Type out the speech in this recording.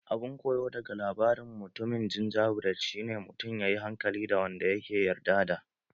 Abun koyo daga labarin mutumin gingerbread shi ne mutun ya yi hankali da wanda ya ke yarda da